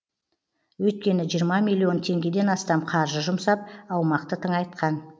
өйткені жиырма миллион теңгеден астам қаржы жұмсап аумақты тыңайтқан